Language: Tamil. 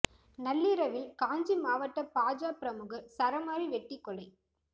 நள்ளிரவில் காஞ்சி மாவட்ட பாஜ பிரமுகர் சரமாரி வெட்டி கொலை